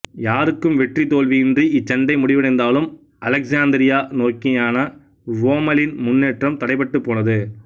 யாருக்கும் வெற்றி தோல்வியின்றி இச்சண்டை முடிவடைந்தாலும் அலெக்சாந்திரியா நோக்கியான ரோம்மலின் முன்னேற்றம் தடைபட்டுப் போனது